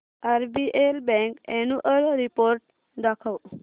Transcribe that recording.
RBL bank annual report दाखव